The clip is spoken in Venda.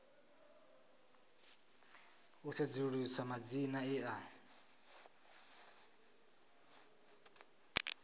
u sedzulusa madzina e a